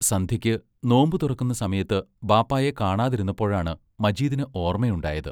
സന്ധ്യയ്ക്ക് നോമ്പു തുറക്കുന്ന സമയത്ത് ബാപ്പായെ കാണാതിരുന്നപ്പോഴാണ് മജീദിന് ഓർമയുണ്ടായത്.